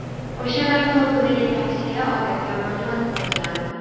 O‘sha vaqtda obunaga tavsiya odatiy amaliyot bo‘lgan.